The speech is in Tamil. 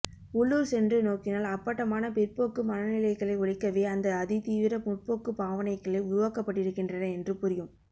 உள்ளூர சென்று நோக்கினால் அப்பட்டமான பிற்போக்கு மனநிலைகளை ஒளிக்கவே அந்த அதிதீவிர முற்போக்கு பாவனைகள் உருவாக்கப்பட்டிருக்கின்றன என்று புரியும்